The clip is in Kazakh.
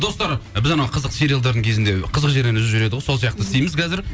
достар біз анау қызықты сериалдардың кезінді қызық жерінде үзіп жібереді ғой сол сияқты істейміз қазір